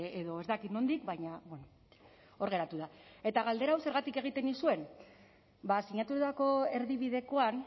edo ez dakit nondik baina hor geratu da eta galdera hau zergatik egiten nizuen ba sinatutako erdibidekoan